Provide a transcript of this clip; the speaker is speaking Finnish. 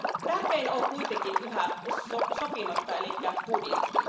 Tärkein on kuitenkin yhä sopimatta, eli budjetti.